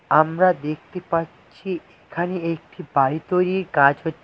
আমরা দেখতে পাচ্ছি এখানে একটি বাড়ি তৈরীর কাজ হ--